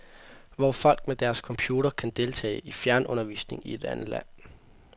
Hvor folk med deres computer kan deltage i fjernundervisning i et andet land.